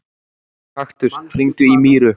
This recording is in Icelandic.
Kaktus, hringdu í Míru.